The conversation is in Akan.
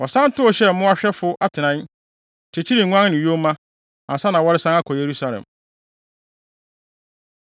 Wɔsan tow hyɛɛ mmoahwɛfo atenae, kyekyeree nguan ne yoma, ansa na wɔresan akɔ Yerusalem.